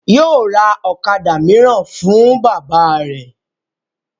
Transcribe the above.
Yóò ra ọ̀kadà mìíràn fún bàbá rẹ̀